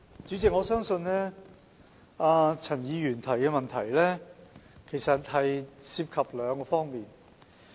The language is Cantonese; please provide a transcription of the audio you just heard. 主席，我相信陳議員的補充質詢涉及兩方面。